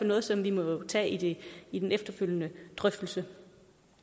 noget som vi må tage i den efterfølgende drøftelse